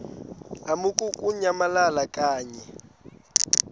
lamukunyamalala xa kanye